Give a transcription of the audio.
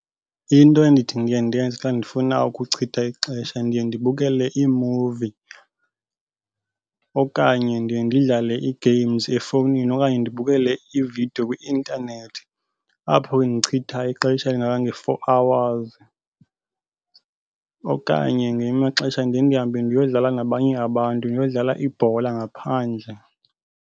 Into endithi ndiye ndenze xa ndifuna ukuchitha ixesha ndiye ndibukele iimuvi okanye ndiye ndidlale ii-games efowunini okanye ndibukele iividiyo kwi-intanethi. Apho ke ndichitha ixesha elingange-four hours. Okanye ngamanye amaxesha ndiye ndihambe ndiyodlala nabanye abantu, ndiyodlala ibhola ngaphandle.